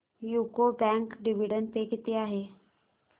UCO bank dividend pay किती आहे